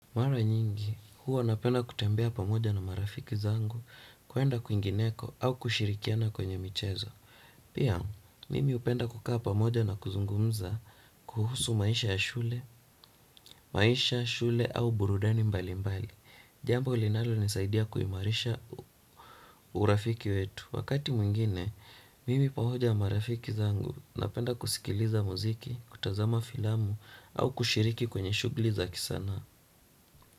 Mara nyingi, huwa napenda kutembea pamoja na marafiki zangu kuenda kuingineko au kushirikiana kwenye mchezo. Pia, mimi upenda kukaa pamoja na kuzungumza kuhusu maisha ya shule au burudani mbali mbali. Jambo linalonisaidia kuimarisha urafiki wetu. Wakati mwingine, mimi pamoja marafiki zangu napenda kusikiliza muziki, kutazama filamu au kushiriki kwenye shuguli za kisana.a